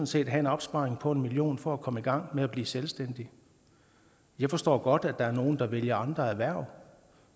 set have en opsparing på en million kroner for at komme i gang med at blive selvstændig jeg forstår godt at der er nogle der vælger andre erhverv